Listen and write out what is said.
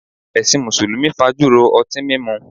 Ẹṣin Mùsùlùmí fájùró ọtín mímu